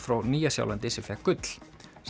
frá Nýja Sjálandi sem fékk gull